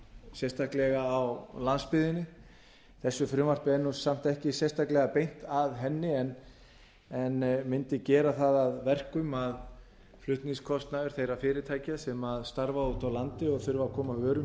sérstaklega á landsbyggðinni þessu frumvarpi er samt ekki sérstaklega beint að henni en mundi gera það að verkum að flutningskostnaður þeirra fyrirtækja sem starfa úti á landi og þurfa að koma vörum